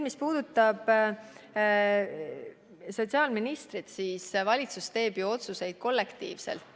Mis puudutab sotsiaalministrit, siis valitsus teeb ju otsuseid kollektiivselt.